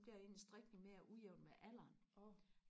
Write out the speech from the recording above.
bliver ens strikning mere ujævn med alderen